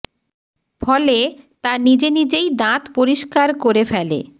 ফলে তা নিজে নিজেই দাঁত পরিষ্কার করে ফেলে